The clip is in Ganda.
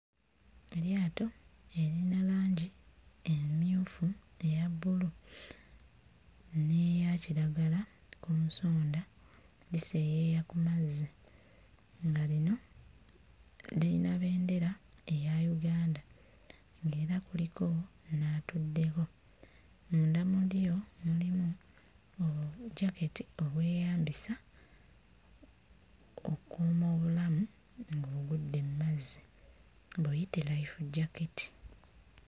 Eryato eriyina langi emmyufu, eya bbulu n'eya kiragala ku nsonda liseeyeeya ku mazzi nga lino liyina bendera eya Uganda ng'era kuliko n'atuddeko. Munda mu lyo mulimu bujjaketi obweyambisa okkuuma obulamu ng'ogudde mu mazzi, buyite life jacket.